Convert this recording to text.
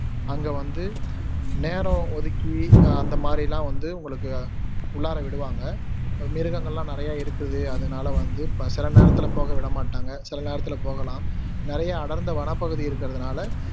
அங்க வந்து நேரம் ஒதுக்கி அஹ் அந்தமாதிரியெல்லாம் வந்து உங்களுக்கு உள்ளார விடுவாங்க மிருகங்களெல்லாம் நிறைய இருக்குது அதனால வந்து ப சில நேரத்துல போக விட மாட்டாங்க சில நேரத்துல போகலாம் நிறைய அடர்ந்த வனப்பகுதி இருக்குறதுனால